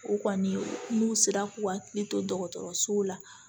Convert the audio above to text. U kɔni n'u sera k'u hakili to dɔgɔtɔrɔsow la